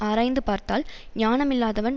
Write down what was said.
ஆராய்ந்து பார்த்தால் ஞானம் இல்லாதவன்